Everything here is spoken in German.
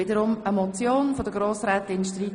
Es ist eine Motion von Frau Grossrätin Streit.